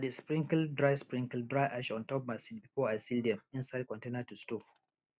i dey sprinkle dry sprinkle dry ash on top my seeds before i seal dem inside container to store